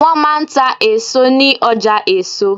Wọ́n máa ń ta èso ní ọjà èso.